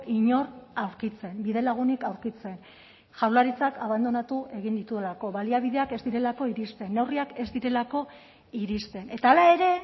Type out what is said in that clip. inor aurkitzen bidelagunik aurkitzen jaurlaritzak abandonatu egin dituelako baliabideak ez direlako iristen neurriak ez direlako iristen eta hala ere